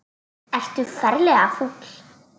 Ertu ferlega fúll?